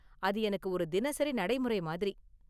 அது எனக்கு ஒரு தினசரி நடைமுறை மாதிரி.